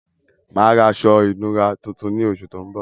Mà á ra aṣọ ìnura tuntun ní oṣù tó ń bọ̀.